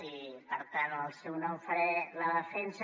i per tant en el seu nom en faré la defensa